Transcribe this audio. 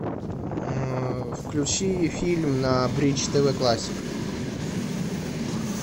включи фильм на бридж тв классик